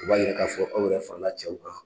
U b'a yira k'a fɔ aw yɛrɛ fara la cɛw kan.